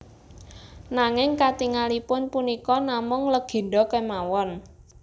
Nanging katingalipun punika namung legèndha kémawon